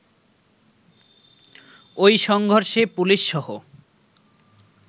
ঐ সংঘর্ষে পুলিশসহ